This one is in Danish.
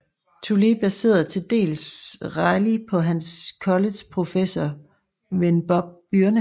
Toole baserede til dels Reilly på hans college professor ven Bob Byrne